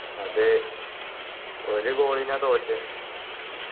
അതെ ഒരു goal ന തോറ്റേ